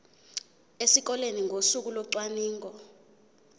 esikoleni ngosuku locwaningo